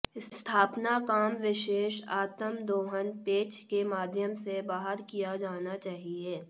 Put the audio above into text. स्थापना काम विशेष आत्म दोहन पेंच के माध्यम से बाहर किया जाना चाहिए